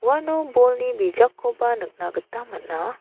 uano bolni bijakkoba nikna gita man·a.